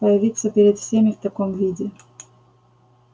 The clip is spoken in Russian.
появиться перед всеми в таком виде